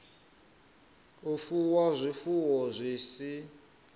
u fuwa zwifuwo zwi si